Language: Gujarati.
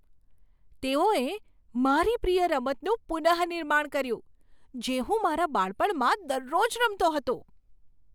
તેઓએ મારી પ્રિય રમતનું પુનઃનિર્માણ કર્યું, જે હું મારા બાળપણમાં દરરોજ રમતો હતો!